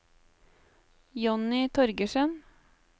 Jonny Torgersen